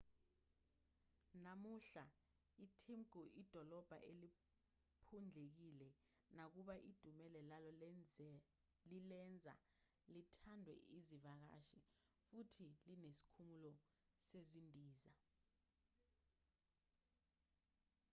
namuhla itimbuktu idolobha eliphundlekile nakuba idumela lalo lilenza lithandwe izivakashi futhi linesikhumulo sezindiza